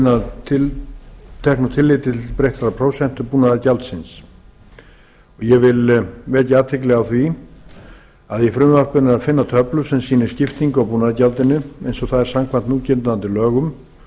að teknu tilliti til breyttrar prósentu búnaðargjaldsins ég vek athygli á því að í frumvarpinu er að finna töflu sem sýnir skiptingu á búnaðargjaldinu eins og það er samkvæmt núgildandi lögum